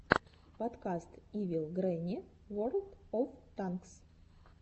подкаст ивил гренни ворлд оф танкс